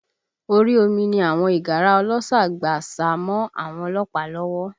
Orí omi ni àwọn ìgárá ọlọ́ṣà gbà sá mọ́ àwọn ọlọ́pàá lọ́wọ́